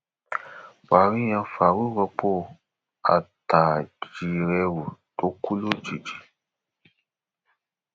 buhari yan farouq rọpò attajírẹrù tó kù lójijì